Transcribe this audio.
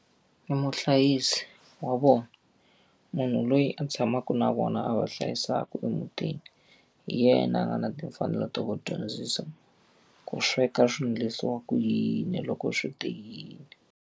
I muhlayisi wa vona. Munhu loyi a tshamaka na vona a va hlayisaka emutini, hi yena a nga na timfanelo ta ku dyondzisa ku sweka swilo leswiwa ku yini loko swi te yini.